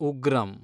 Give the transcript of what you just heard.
Ugramm